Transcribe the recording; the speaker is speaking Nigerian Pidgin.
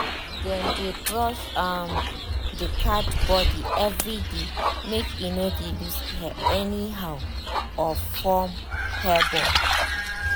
dem dey brush um the um cat body everyday make e no dey lose hair anyhow um or form hair ball